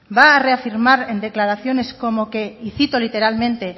va a reafirmar en declaraciones como que y citó literalmente